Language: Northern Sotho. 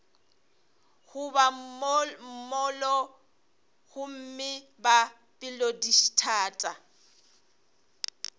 goba mollo gomme ba pelodithata